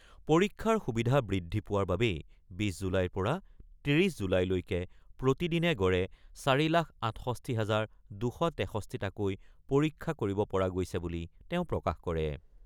পৰীক্ষাৰ সুবিধা বৃদ্ধি পোৱাৰ বাবেই ২৬ জুলাইৰ পৰা ৩০ জুলাইলৈকে প্ৰতিদিনে গড়ে ৪ লাখ ৬৮ হাজাৰ ২৬৩টাকৈ পৰীক্ষা কৰিব পৰা গৈছে বুলি তেওঁ প্ৰকাশ কৰে।